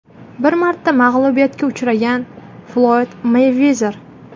Bir marta mag‘lubiyatga uchragan (Floyd Meyvezer).